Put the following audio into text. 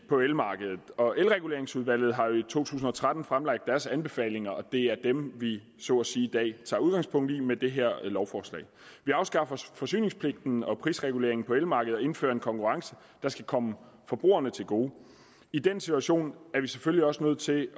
på elmarkedet og elreguleringsudvalget har jo i to tusind og tretten fremlagt deres anbefalinger og det er dem vi så at sige i dag tager udgangspunkt i med det her lovforslag vi afskaffer forsyningspligten og prisreguleringen på elmarkedet og indfører en konkurrence der skal komme forbrugerne til gode i den situation er vi selvfølgelig også nødt til